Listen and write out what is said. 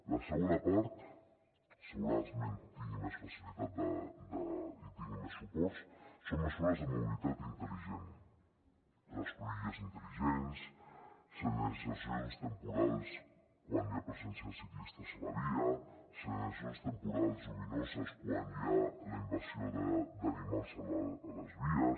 la segona part segurament tindrà més facilitat i tindrà més suports són mesures de mobilitat intel·ligent les cruïlles intel·ligents senyalitzacions temporals quan hi ha presència de ciclistes a la via senyalitzacions temporals lluminoses quan hi ha la invasió d’animals a les vies